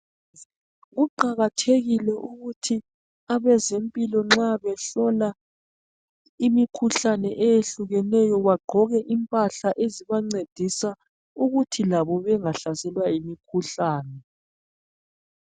Kuqakathekile ukuthi abezempilo behlola imikhuhlane eyehlukeneyo bagqoke impahla ezibancedisa ukuthi labo bengahlaselwa yimikhuhlane.